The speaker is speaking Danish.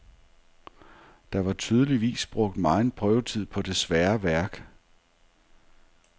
Der var tydeligvis brugt megen prøvetid på det svære værk.